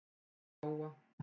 Til Jóa.